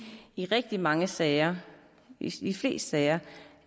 i rigtig mange sager i de fleste sager